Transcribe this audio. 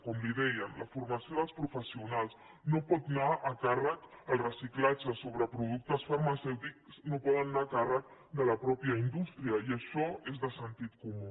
com li dèiem la formació dels professionals el reciclatge sobre productes farmacèutics no poden anar a càrrec de la mateixa indústria i això és de sentit comú